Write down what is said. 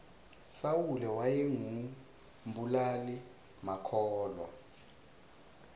sawule wayengu mbulali makhulwa